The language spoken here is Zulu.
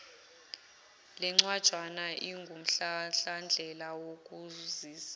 lencwajana ingumhlahlandlela wokukusiza